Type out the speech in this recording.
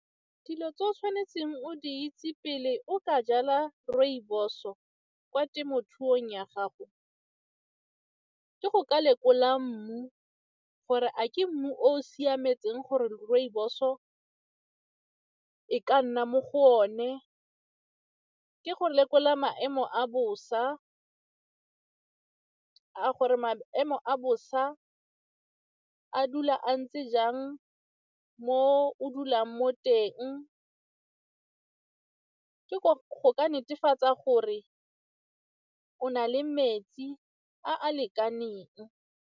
Dilo tse o tshwanetseng o di itse pele o ka jala rooibos-o kwa temothuong ya gago ke go ka lekola mmu gore a ke mmu o siametseng gore rooibos-o e ka nna mo go one, ke gore lekola maemo a bosa a gore maemo a bosa a dula a ntse jang mo o dulang mo teng, ke go netefatsa gore o na le metsi a a lekaneng.